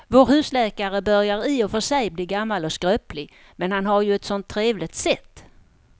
Vår husläkare börjar i och för sig bli gammal och skröplig, men han har ju ett sådant trevligt sätt!